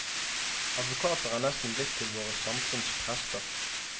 Advokater er nesten blitt til våre samfunns prester.